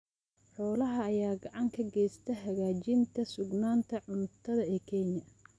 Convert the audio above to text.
Xoolaha ayaa gacan ka geysta hagaajinta sugnaanta cuntada ee Kenya.